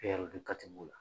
E yɛrɛ dun